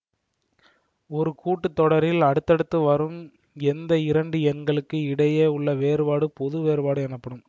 ஒரு கூட்டு தொடரில் அடுத்தடுத்து வரும் எந்த இரண்டு எண்களுக்கு இடையே உள்ள வேறுபாடு பொது வேறுபாடு எனப்படும்